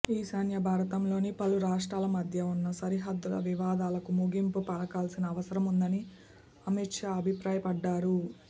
ఈశాన్య భారతంలోని పలు రాష్ట్రాల మధ్య ఉన్న సరిహద్దు వివాదాలకు ముగింపు పలకాల్సిన అవసరముందని అమిత్ షా అభిప్రాయపడ్డారు